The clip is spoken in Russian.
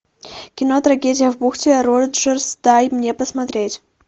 кино трагедия в бухте роджерс дай мне посмотреть